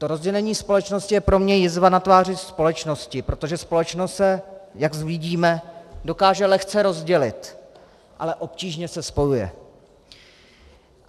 To rozdělení společnosti je pro mě jizva na tváři společnosti, protože společnost se, jak vidíme, dokáže lehce rozdělit, ale obtížně se spojuje.